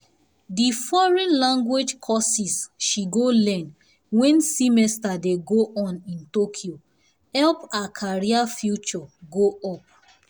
the foreign language courses she go learn wen semester dey go on in tokyo help her career future go up